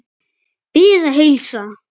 Bið að heilsa.